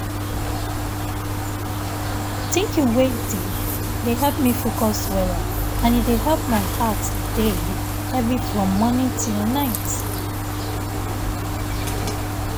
thinking wey deep dey help me focus weller and e dey help my heart dey heavy from morning till night.